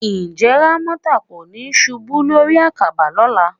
Ǹjẹ́ Rámọ́tà kò ní ṣubú lórí àkàbà lọ́la?